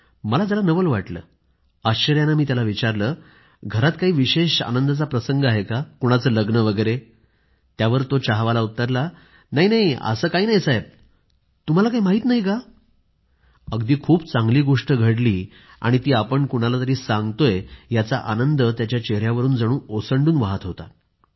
मला खूप नवल वाटलं आश्चर्यानं मी त्याला विचारलं घरात काही विशेष आनंदाचा प्रसंग आहे का कुणाचं लग्न वगैर आहे का त्यावर तो चहावाला उत्तरला नाही असं काही नाही साहेब तुम्हाला काही माहिती नाही का अगदी खूप चांगली गोष्ट घडली आणि ती आपण कुणाला तरी सांगतोय याचा आनंद त्याच्या चेहऱ्यावरून जणू ओसंडून वाहत होता